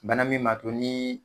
Bana min mato niiii.